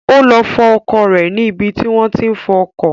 Ó lọ fọ ọkọ̀ rẹ̀ ní ibi tí wọ́n tí ń fọ ọkọ̀